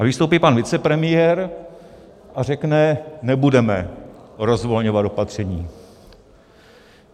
A vystoupí pan vicepremiér a řekne: nebudeme rozvolňovat opatření.